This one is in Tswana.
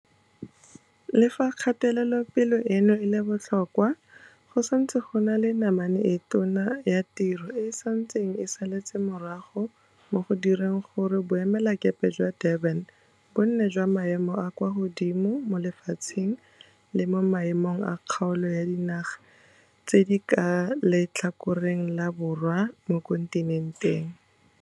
Le fa kgatelopele eno e le botlhokwa, go santse go na le namane e tona ya tiro e e santseng e saletse morago mo go direng gore boemelakepe jwa Durban bo nne jwa maemo a a kwa godimo mo lefatsheng le mo maemong a kgaolo ya dinaga tse di ka fa letlhakoreng la borwa mo kontinenteng.